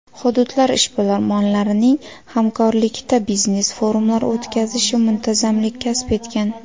Hududlar ishbilarmonlarining hamkorlikda biznes forumlar o‘tkazishi muntazamlik kasb etgan.